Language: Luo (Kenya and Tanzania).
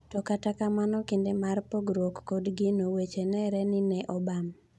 To kata kamano kinde mar pogruok kod gino, weche neere ni neobam .